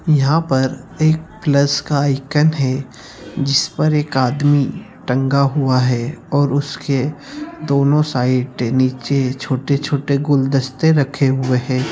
यहाँ पर एक प्लस का आइकान है जिस पर एक आदमी टंगा हुआ है और उसके दोनों साइड नीचे छोटे-छोटे गुलदस्ते रखे हुए हैं।